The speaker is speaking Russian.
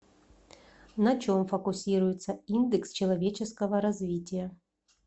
на чем фокусируется индекс человеческого развития